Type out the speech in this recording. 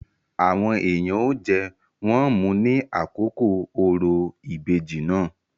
Àwọn èèyàn ó jẹ, wón mu ní àkókò òrò ìbejì náà.